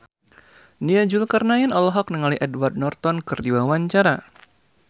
Nia Zulkarnaen olohok ningali Edward Norton keur diwawancara